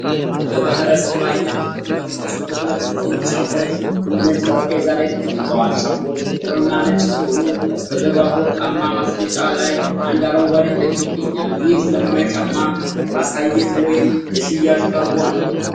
በባሕረ-ሰብ አይነት ህትመት የተሰሩ ሁለት ጥንድ ጫማዎች በነጭ ጠረጴዛ ላይ ተቀምጠዋል። ጫማዎቹ ጥቁርና ነጭ ሲሆኑ፣ በስተጀርባ በወርቃማ ማስቀመጫ ላይ አንድ አረንጓዴ ተክል ይገኛል፤ ይህ ዘመናዊ ጫማ ለማሳያነት ወይስ ለሽያጭ ቀርቦ ነው?